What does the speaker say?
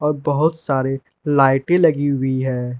और बहोत सारे लाइटे लगी हुई है।